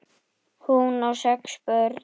Hún á sex börn.